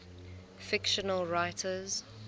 fictional writers